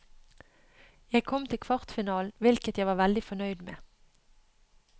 Jeg kom til kvartfinalen, hvilket jeg var veldig fornøyd med.